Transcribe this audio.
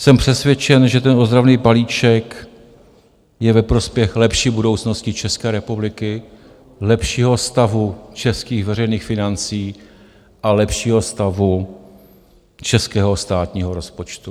Jsem přesvědčen, že ten ozdravný balíček je ve prospěch lepší budoucnosti České republiky, lepšího stavu českých veřejných financí a lepšího stavu českého státního rozpočtu.